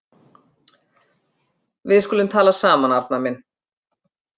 Við skulum tala saman, Arnar minn.